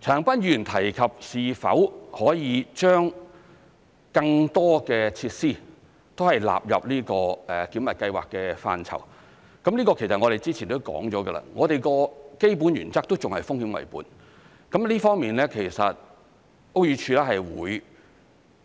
陳恒鑌議員提及是否可以將更多設施納入這個檢核計劃的範疇，這個之前提及到，我們的基本原則仍是"風險為本"，屋宇署會